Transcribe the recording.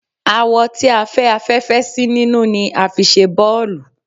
Awọ tí a fẹ́ afẹ́fẹ́ sí nínú ni a fi ṣe bọ́ọ̀lù